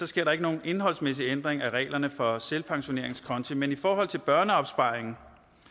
sker der ikke nogen indholdsmæssig ændring af reglerne for selvpensioneringskonti men i forhold til børneopsparing